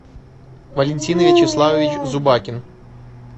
валентин вячеславович зубакин